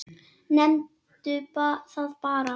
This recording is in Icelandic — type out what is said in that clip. Nefndu það bara.